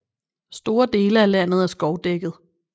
Store dele af landet er skovdækket